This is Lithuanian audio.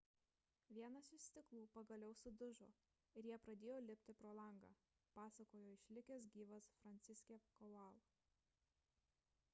vienas iš stiklų pagaliau sudužo ir jie pradėjo lipti pro langą – pasakojo išlikęs gyvas franciszek kowal